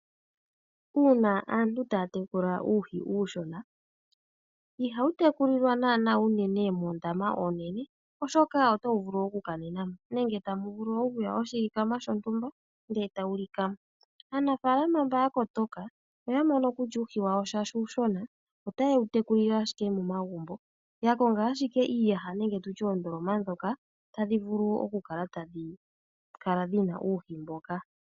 Uuna aantu taa tekula uuhi uushona, ihawu tekulilwa naanaa unene moondama oonene, oshoka otawu vulu okukanena mo, nenge tamu vulu okuya oshilikama shontumba, ndele tawu lika mo. Aanafaalama mba ya kotoka, oya mono kutya uuhi wawo shaashi uushona, otaye wu tekulile ashike momagumbo, ya konga ashike iiyaha nenge tu tye oondoloma ndhoka tadhi vulu okukala tadhi kala dhi na uuhi mboka.